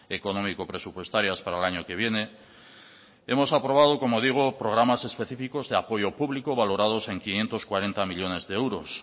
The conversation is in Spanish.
económico presupuestarias para el año que viene hemos aprobado como digo programas específicos de apoyo público valorados en quinientos cuarenta millónes de euros